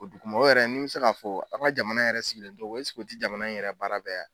O dugu mɔgɔ yɛrɛ ni bɛ se k'a fɔ, aw ka jamana yɛrɛ sigilen tɔgɔ eseke o tɛ jamana in yɛrɛ baara bɛɛ ye wa?